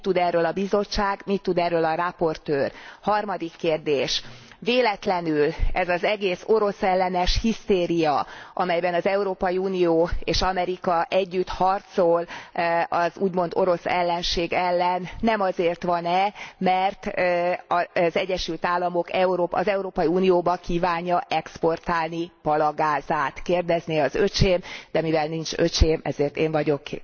Mit tud erről a Bizottság, mit tud erről a rapportőr? Harmadik kérdés véletlenül ez az egész oroszellenes hisztéria, amelyben az Európai Unió és Amerika együtt harcol az úgymond oroszellenség ellen nem azért van e, mert az Egyesült Államok az Európai Unióba kívánja exportálni palagázát, kérdezné az öcsém, de mivel nincs öcsém, ezért én vagyok